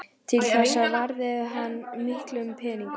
Til þessa varði hann miklum peningum.